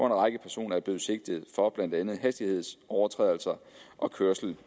en række personer er blevet sigtet for blandt andet hastighedsovertrædelser og kørsel